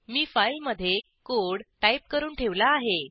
मी फाईलमधे code type करून ठेवला आहे